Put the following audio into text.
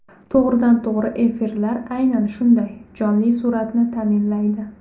To‘g‘ridan to‘g‘ri efirlar aynan shunday jonli suratni ta’minlaydi.